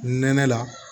Nɛnɛ la